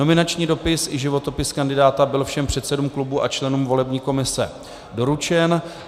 Nominační dopis i životopis kandidáta byl všem předsedům klubů a členům volební komise doručen.